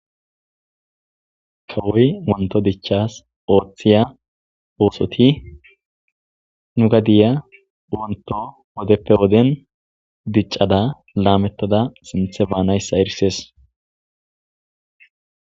Kawoy Wonto dicahas oothiya ososti nu gadiya wonto wodeppe woddeni dicada lametada sinthe banaysa erisesi.